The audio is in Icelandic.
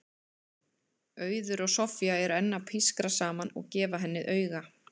Auður og Soffía eru enn að pískra saman og gefa henni auga.